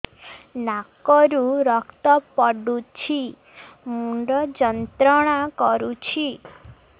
ନାକ ରୁ ରକ୍ତ ପଡ଼ୁଛି ମୁଣ୍ଡ ଯନ୍ତ୍ରଣା କରୁଛି